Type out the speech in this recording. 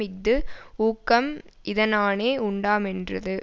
இஃது ஊக்கம் இதனானே உண்டாமென்றது